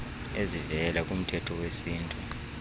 ezivela kumthetho wesintu